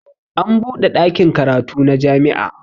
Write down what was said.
An buɗe ɗakin karatu na jami'a